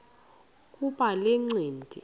kuba le ncindi